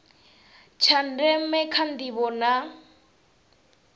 tsha ndeme kha ndivho na